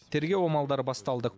тергеу амалдары басталды